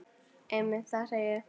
Einmitt það, segi ég.